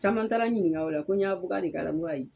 Caman taara n ɲininka o la ko n y'a de k'a la